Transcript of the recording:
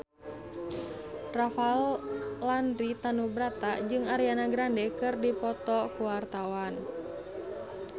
Rafael Landry Tanubrata jeung Ariana Grande keur dipoto ku wartawan